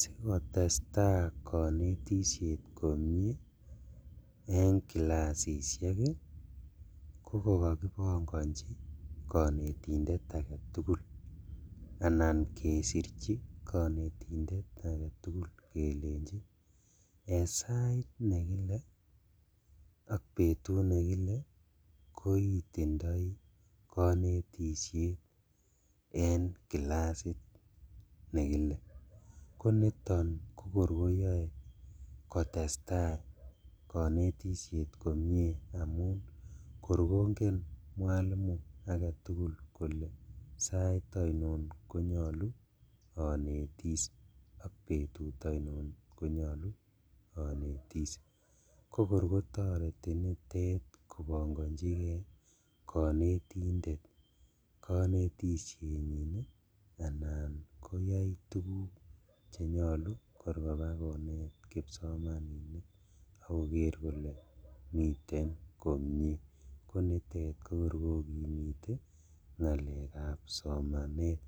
Sikotestaa konetishe komie en kilasishek ii ko kokokipongonji konetindet aketugul anan kesirchi kenetindet aketugul kelejin en sait nekile ak betut nekike koitindoi konetishet en kilasit nekile, koniton kokor koyoe kotestaa konetishet komie amun kor kongen mwalimu kole sait oinon konyolu onetis ak betut oinon konyolu onetis kokor kotoreti nitet kopongonjikee konetindet konetishenyin anan koyai tuguk chenyolu kor kobakonet kipsomaninik ak koker kole miten komie konitet kokor kokimite ngalekab somanet